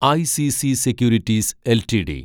ICC securities LTD